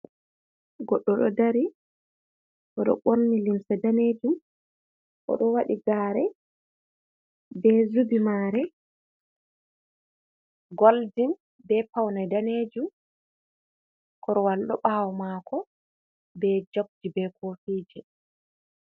Goɗɗo ɗo ɗari. Oɗo borni limsa ɗanejum. Oɗo waɗi gare be zubi mare golɗin. Be paunai ɗanejum. Korwal ɗo bawo mako be jokji be kofije.